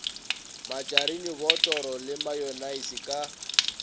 matšarine botoro le mayonnaise ka